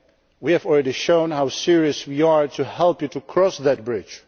partners. We have already shown how serious we are in helping you to cross